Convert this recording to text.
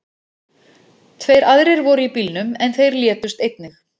Tveir aðrir voru í bílnum, en þeir létust einnig.